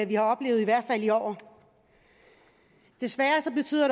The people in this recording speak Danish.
vi har oplevet i år desværre betyder